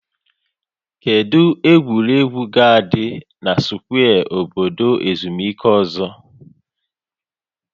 Kedu egwuregwu ga-adị na skwee obodo ezumike ọzọ?